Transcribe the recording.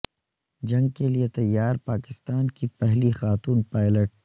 جنگ کے لیے تیار پاکستان کی پہلی خاتون پائلٹ